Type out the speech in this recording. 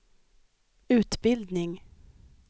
utbildning